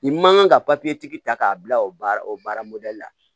I man kan ka tigi ta k'a bila o baara o baara la